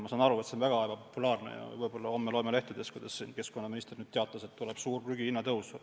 Ma saan aru, et see on väga ebapopulaarne ja võib-olla homme loeme lehtedest, et keskkonnaminister teatas, et tuleb suur prügihinna tõus.